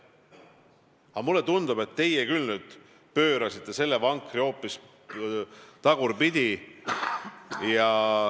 Aga mulle tundub, et teie küll nüüd pöörasite selle vankri hoopis tagurpidi.